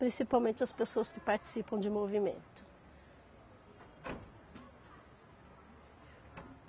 Principalmente as pessoas que participam de movimento.